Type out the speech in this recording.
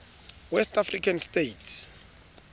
west african states